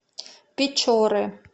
печоры